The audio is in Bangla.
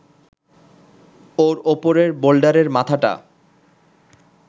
ওর ওপরের বোল্ডারের মাথাটা